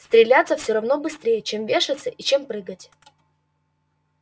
стреляться всё равно быстрей чем вешаться и чем прыгать